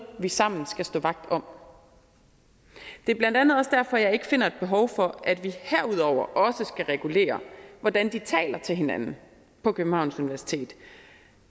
vi sammen skal stå vagt om det er blandt andet også derfor jeg ikke finder et behov for at vi herudover skal regulere hvordan de taler til hinanden på københavns universitet